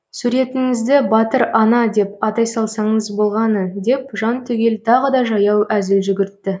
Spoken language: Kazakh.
суретіңізді батыр ана деп атай салсаңыз болғаны деп жантүгел тағы да жаяу әзіл жүгіртті